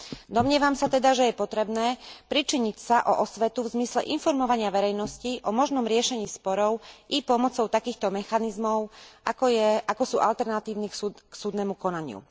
Domnievam sa teda, že je potrebné pričiniť sa o osvetu v zmysle informovania verejnosti o možnom riešení sporov i pomocou takýchto mechanizmov, ako sú alternatívy k súdnemu konaniu.